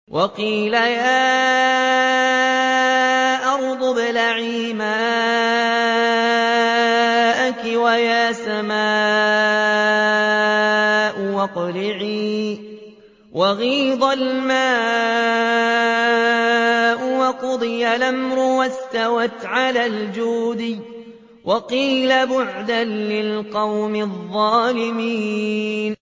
وَقِيلَ يَا أَرْضُ ابْلَعِي مَاءَكِ وَيَا سَمَاءُ أَقْلِعِي وَغِيضَ الْمَاءُ وَقُضِيَ الْأَمْرُ وَاسْتَوَتْ عَلَى الْجُودِيِّ ۖ وَقِيلَ بُعْدًا لِّلْقَوْمِ الظَّالِمِينَ